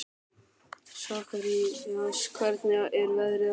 Sakarías, hvernig er veðrið á morgun?